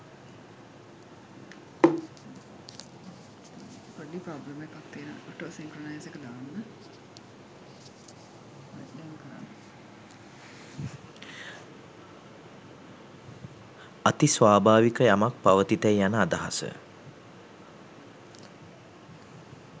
අති ස්වභාවික යමක් පවතිතැයි යන අදහස